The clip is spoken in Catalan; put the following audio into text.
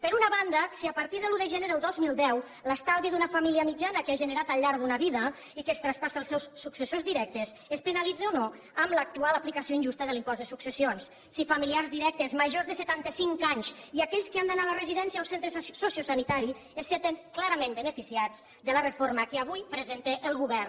per una banda si a partir de l’un de gener del dos mil deu l’estalvi d’una família mitjana que ha generat al llarg d’una vida i que es traspassa als seus successors directes es penalitza o no amb l’actual aplicació injusta de l’impost de successions si familiars directes majors de setantacinc anys i aquells que han d’anar a la residència o centre sociosanitari se senten clarament beneficiats de la reforma que avui presenta el govern